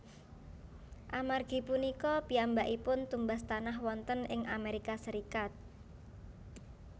Amargi punika piyambakipun tumbas tanah wonten ing Amerika Serikat